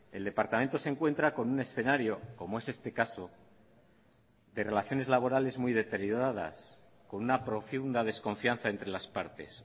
el departamento se encuentra con un escenario como es este caso de relaciones laborales muy deterioradas con una profunda desconfianza entre las partes